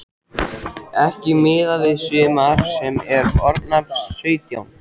Ekki miðað við sumar sem eru orðnar sautján.